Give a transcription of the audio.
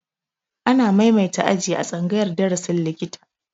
Ana maimaita aji a tsangayar darasin likita